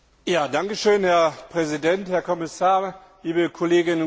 Herr Präsident, Herr Kommissar, liebe Kolleginnen und Kollegen!